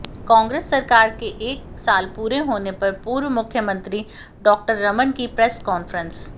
कांग्रेस सरकार के एक साल पूरे होने पर पूर्व मुख्यमंत्री डॉ रमन की प्रेस कॉन्फ्रेंस